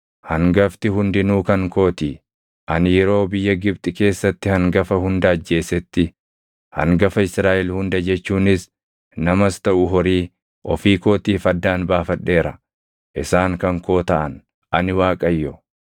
hangafti hundinuu kan kootii. Ani yeroo biyya Gibxi keessatti hangafa hunda ajjeesetti hangafa Israaʼel hunda jechuunis namas taʼu horii ofii kootiif addaan baafadheera. Isaan kan koo taʼan. Ani Waaqayyo.”